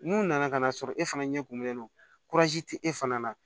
N'u nana ka n'a sɔrɔ e fana ɲɛ kumunnen no tɛ e fana na